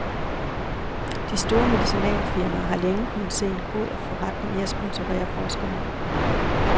De store medicinalfirmaer har længe kunnet se en god forretning i at sponsorere forskerne.